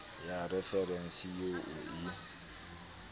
ya referense eo o e